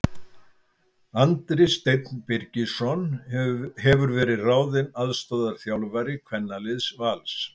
Andri Steinn Birgisson hefur verið ráðinn aðstoðarþjálfari kvennaliðs Vals.